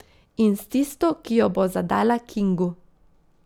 In s tisto, ki jo bo zadala Kingu.